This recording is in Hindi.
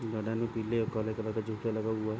गार्डन में पीले और काले कलर का जूता लगा हुआ हैं।